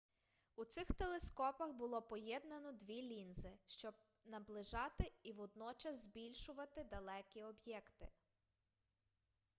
у цих телескопах було поєднано дві лінзи щоб щоб наближати і водночас збільшувати далекі об'єкти